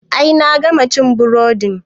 I nayi, na gama cin burodin